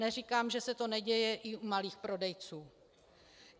Neříkám, že se to neděje i u malých prodejců.